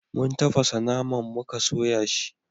mun tafasa naman muka soya shi